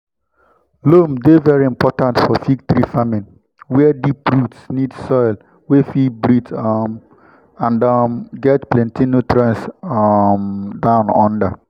loam dey very important for fig tree farming were deep roots need soil wey fit breathe um and um get plenty nutrients um down under.